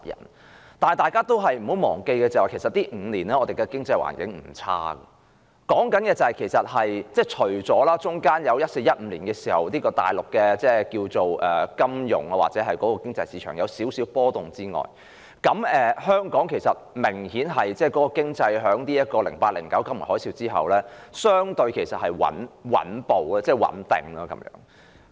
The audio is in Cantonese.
可是，大家不要忘記，這5年來，我們的經濟環境並不壞，除了在2014年及2015年，內地的金融市場或經濟有少許波動外，相對於2008年至2009年剛爆發金融海嘯的一段期間，本港的經濟已較穩定。